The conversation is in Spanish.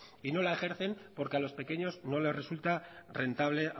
y no la ejercen porque a los pequeños no les resulta rentable